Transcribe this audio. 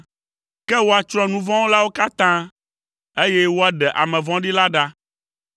Ke woatsrɔ̃ nu vɔ̃ wɔlawo katã, eye woaɖe ame vɔ̃ɖi la ɖa.